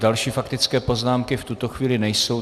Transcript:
Další faktické poznámky v tuto chvíli nejsou.